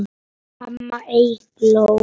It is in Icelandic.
Amma Eygló.